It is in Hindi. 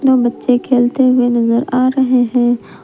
व बच्चे खेलते हुए नजर आ रहे हैं।